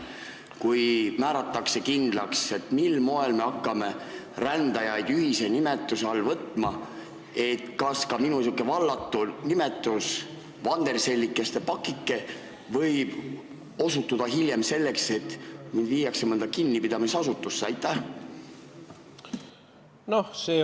Kui määratakse kindlaks, mil moel me hakkame rändajaid ühise nimetuse all võtma, kas ka minu sihuke vallatu nimetus "vandersellide paktike" võib põhjustada hiljem seda, et mind viiakse mõnda kinnipidamisasutusse?